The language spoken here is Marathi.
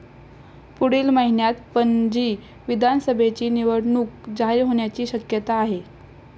पुढील महिन्यात पणजी विधानसभेची निवडणूक जाहीर होण्याची शक्यता आहे.